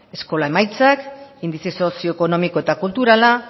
eskola emaitzak indize sozioekonomiko eta kulturala